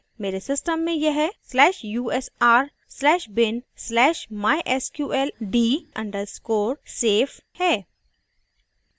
मेरे system में यह/usr/bin/mysqld _ safe है